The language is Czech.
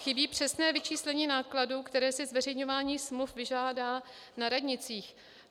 Chybí přesné vyčíslení nákladů, které si zveřejňování smluv vyžádá na radnicích.